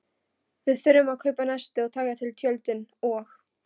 Við þurfum að kaupa nesti og taka til tjöldin og.